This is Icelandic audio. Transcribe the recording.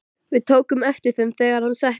Við tókum eftir þeim, þegar hann settist.